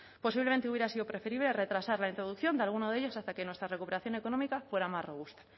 posiblemente hubiera sido preferible retrasar la introducción de alguno de ellos hasta que nuestra recuperación económica fuera más robusta